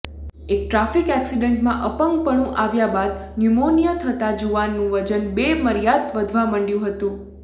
એક ટ્રાફિક ઍક્સિડન્ટમાં અપંગપણું આવ્યા બાદ ન્યુમોનિયા થતાં જુઆનનું વજન બેમર્યાદ વધવા માંડ્યું હતું